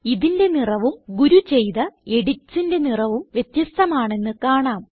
ഇതിന്റെ നിറവും ഗുരു ചെയ്ത editsന്റെ നിറവും വ്യത്യസ്ഥമാണെന്ന് കാണാം